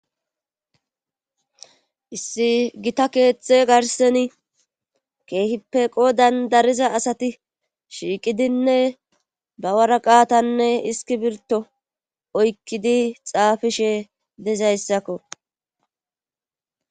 issi gita keeththe garseni keehipeqo dandariza asati shiiqidinne bawaraqaatanne iski birto oykkidi xaafishe dezayssakko